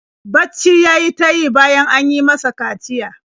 Bacci ya yi ta yi bayan an yi masa kaciya.